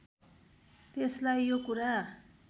त्यसलाई यो कुरा